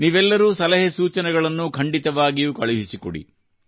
ನೀವೆಲ್ಲರೂ ಸಲಹೆ ಸೂಚನೆಗಳನ್ನು ಖಂಡಿತವಾಗಿಯೂ ಕಳುಹಿಸಿಕೊಡಿ